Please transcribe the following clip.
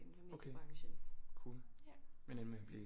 Okay cool men endte med at blive